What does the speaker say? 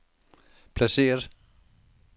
placeret